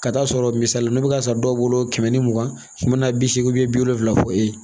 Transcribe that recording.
Ka taa'a sɔrɔ misali la n'o bɛ ka san dɔw bolo kɛmɛ ni mugan kɛmɛ bi seegi bi wolonwula fɔ e ye